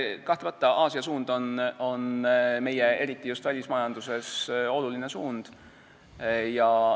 Kahtlemata on Aasia suund eriti just meie välismajanduses oluline.